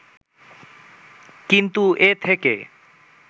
কিন্তু এ থেকে